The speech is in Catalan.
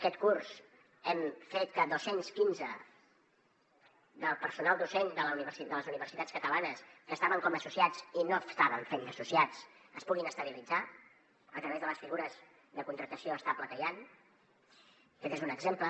aquest curs hem fet que dos cents i quinze del personal docent de les universitats catalanes que estaven com a associats i no estaven fent d’associats es puguin estabilitzar a través de les figures de contractació estable que hi han aquest n’és un exemple